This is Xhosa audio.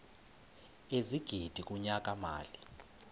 ezigidi kunyaka mali